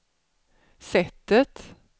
sättet